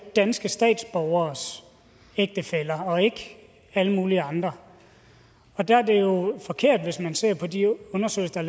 danske statsborgeres ægtefæller og ikke alle mulige andre der er det jo forkert hvis man ser på de undersøgelser